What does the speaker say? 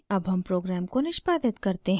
अब हम प्रोग्राम को निष्पादित करते हैं